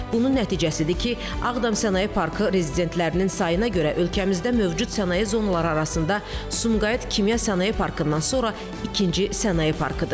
Bunun nəticəsidir ki, Ağdam sənaye parkı rezidentlərinin sayına görə ölkəmizdə mövcud sənaye zonaları arasında Sumqayıt Kimya Sənaye Parkından sonra ikinci sənaye parkıdır.